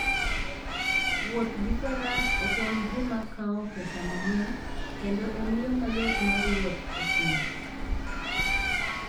Wuoth gi Faras ok en gima kawo pesa mang'eny, kendo en yo mayot mar wuoth e thim.